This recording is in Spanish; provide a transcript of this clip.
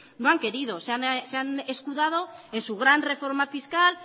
no han querido se han escudado en su gran reforma fiscal